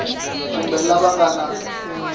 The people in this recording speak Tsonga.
kumbe lava va nga na